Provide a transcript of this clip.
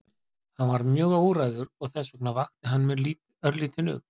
Hann var mjög óræður og þess vegna vakti hann mér örlítinn ugg.